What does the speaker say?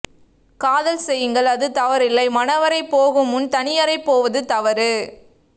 காதல் செய்யுங்கள் அது தவறில்லை மனவறை போக முன் தனியறை போவது தவறு